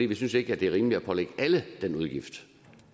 vi synes ikke det er rimeligt at pålægge alle den udgift